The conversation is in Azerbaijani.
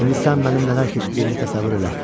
İndi sən mənim nələr keçdiyimi təsəvvür elə.